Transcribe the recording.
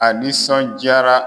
A nisɔnjaara.